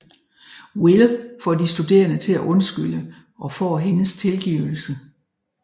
Will får de studerende til at undskylde og får hendes tilgivelse